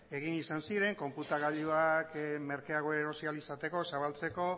egin izan ziren konputagailuak merkeago erosi ahal izateko